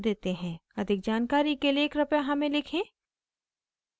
अधिक जानकारी के लिए कृपया हमें लिखें